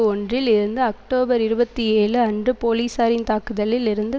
ஒன்றில் இருந்து அக்டோபர் இருபத்தி ஏழு அன்டு போலீசாரின் தாக்குதலில் இருந்து